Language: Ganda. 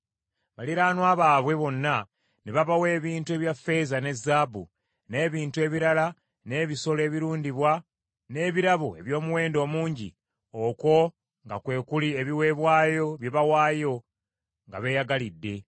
Baliraanwa baabwe bonna ne babawa ebintu ebya ffeeza ne zaabu, n’ebintu ebirala n’ebisolo ebirundibwa, n’ebirabo eby’omuwendo omungi, okwo nga kwe kuli ebiweebwayo bye baawaayo nga beeyagalidde.